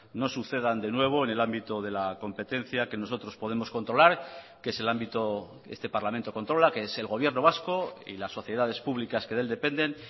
no sucedan de nuevo en el ámbito de la competencia que nosotros podemos controlar que es el ámbito este parlamento controla que es el gobierno vasco y las sociedades públicas que de él dependen